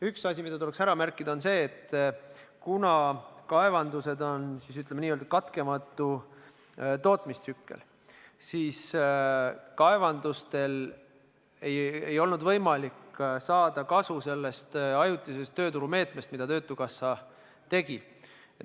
Üks asi, mida tuleks märkida, on see, et kuna kaevandustes on n-ö katkematu tootmistsükkel, siis neil ei olnud võimalik saada kasu sellest ajutisest tööturumeetmest, mida töötukassa rakendas.